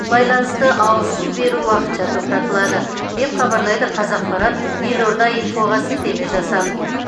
байланысты ауыз су беру уақытша тоқтатылады деп хабарлайды қазақпарат елорда инфоға сілтеме жасап